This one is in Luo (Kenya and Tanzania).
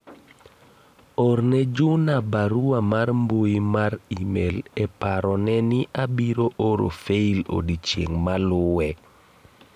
orne Juna barua mar mbui mar email e paro ne ni abiro oro fail odiochieng' maluwe